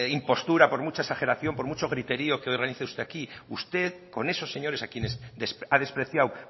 impostura por mucha exageración por mucho griterío que realice usted aquí usted con esos señores a quienes ha despreciado